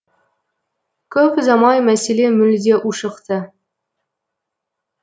көп ұзамай мәселе мүлде ушықты